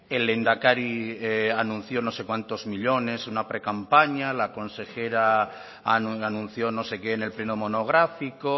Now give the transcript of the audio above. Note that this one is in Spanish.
el lehendakari anunció no sé cuántos millónes en una precampaña la consejera anunció no sé qué en el pleno monográfico